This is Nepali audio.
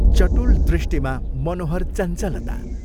चटुल दृष्टिमा मनोहर चञ्चलता।